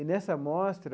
E, nessa mostra,